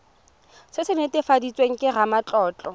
se se netefaditsweng ke ramatlotlo